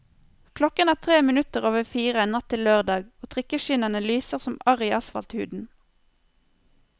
Klokken er tre minutter over fire, natt til lørdag, og trikkeskinnene lyser som arr i asfalthuden.